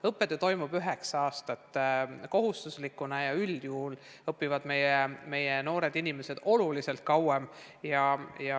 Õppetöö toimub üheksa aastat kohustuslikuna ja üldjuhul õpivad meie noored inimesed oluliselt kauem.